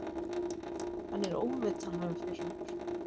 Hann er ómetanlegur fyrir okkur.